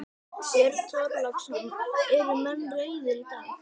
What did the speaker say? Björn Þorláksson: Eru menn reiðir í dag?